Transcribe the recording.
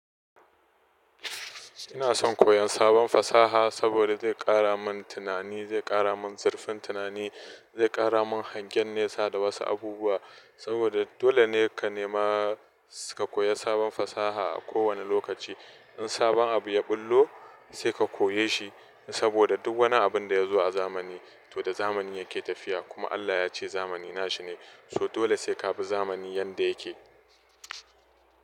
Ina son koyon sabon fasaha saboda zai ƙara min tunani, zai ƙara min zurfin tunani, zai ƙara min hangen nesa da wasu abubuwa. Saboda dole ne ka nema ka koya sabon fasaha a kowane lokaci. In sabon abu ya ɓullo sai ka koye shi saboda duk wani abin da ya zo a zamani, to da zamani yake tafiya. Kuma Allah yace zamani nashi ne, so dole sai ka bi zamani yanda yake.